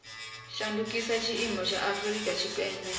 shandukisa tshiimo tsha afurika tshipembe